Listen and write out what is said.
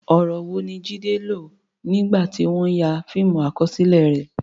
Ọ̀rọ̀ wo ni Jide lò nígbà tí wọ́n ń ya fíìmù àkọsílẹ̀ rẹ̀?